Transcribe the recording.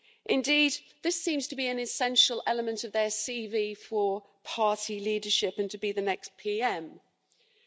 Indeed, this seems to be an essential element of their CV for party leadership and to be the next Prime Minister.